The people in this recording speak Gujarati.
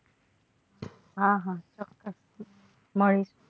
હા હા મળે.